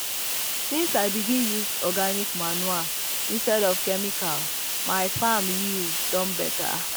since i begin use organic um manure instead of chemical my farm yield don better. um